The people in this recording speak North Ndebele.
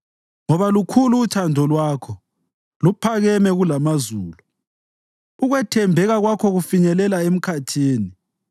Ngoba lukhulu uthando lwakho, luphakame kulamazulu; ukwethembeka kwakho kufinyelela emkhathini.